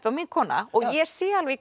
var mín kona og ég sé alveg